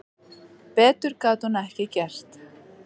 Betur gat hún ekki gert.